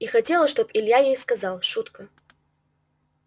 и хотела чтоб илья ей сказал шутка